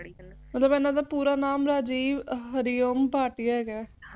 ਓਹਤੋ ਬਾਅਦ ਇਹਨਾਂ ਦਾ ਪੂਰਾ ਨਾਮ ਰਾਜੀਵ ਹਰਿ ਓਮ ਭਾਟੀਆ ਹੈਗਾ